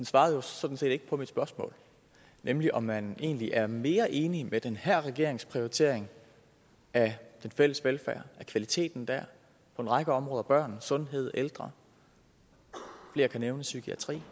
svarede jo sådan set ikke på mit spørgsmål nemlig om man egentlig er mere enig med den her regerings prioritering af den fælles velfærd af kvaliteten der på en række områder børn sundhed ældre psykiatri